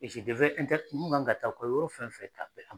mun kan ka taa u ka yɔrɔ fɛn fɛn